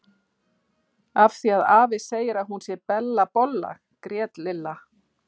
Af því að afi segir að hún sé Bella bolla grét Lilla.